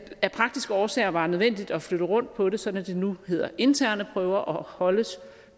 af praktiske årsager var nødvendigt at flytte rundt på det sådan at det nu hedder interne prøver og holdes